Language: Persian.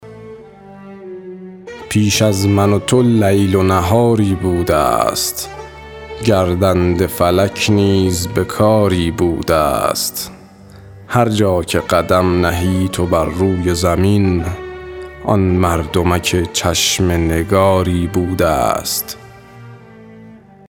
پیش از من و تو لیل و نهاری بوده ست گردنده فلک نیز به کاری بوده است هر جا که قدم نهی تو بر روی زمین آن مردمک چشم نگاری بوده ست